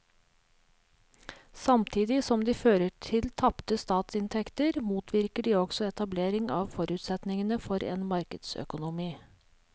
Samtidig som de fører til tapte statsinntekter motvirker de også etablering av forutsetningene for en markedsøkonomi.